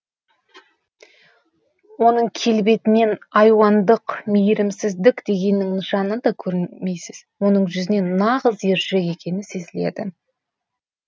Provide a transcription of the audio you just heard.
оның келбетінен айуандық мейірімсіздік дегеннің нышанын да көрмейсіз оның жүзінен нағыз ержүрек екені сезіледі